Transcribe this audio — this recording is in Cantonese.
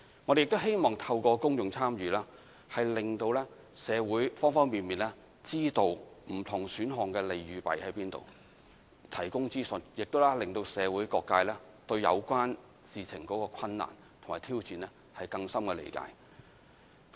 我們希望透過公眾參與，令社會方方面面，知道不同選項的利與弊，並提供資訊，令社會各界對有關事情的困難及挑戰，有更深的理解。